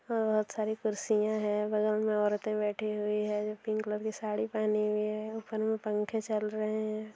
बहोत सारी कुर्सियां है बगल में औरते बैठी हुई है जो पिंक कलर की साड़ी पहनी हुई है ऊपर में पंखे चल रहे है।